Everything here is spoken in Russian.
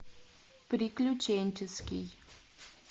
приключенческий